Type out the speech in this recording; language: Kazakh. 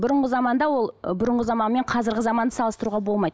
бұрынғы заманда ол бұрынғы заман мен қазіргі заманды салыстыруға болмайды